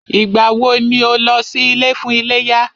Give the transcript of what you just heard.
Ìgbà wọ ni o lọ sí ilé fún iléyá?